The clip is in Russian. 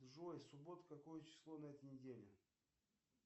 джой суббота какое число на этой неделе